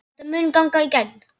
Þetta mun ganga í gegn.